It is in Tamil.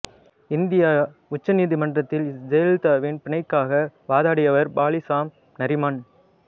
இந்திய உச்ச நீதிமன்றத்தில் செயலலிதாவின் பிணைக்காக வாதாடியவர் பாலி சாம் நரிமன்